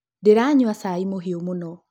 Ndĩranyua cai mũhiũ mũno